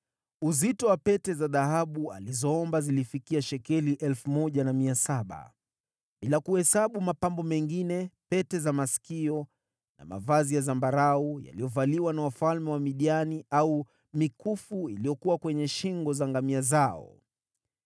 Uzito wa pete za dhahabu alizoomba zilifikia shekeli 1,700, bila kuhesabu mapambo mengine, pete za masikio na mavazi ya zambarau yaliyovaliwa na wafalme wa Midiani, au mikufu iliyokuwa kwenye shingo za ngamia zao.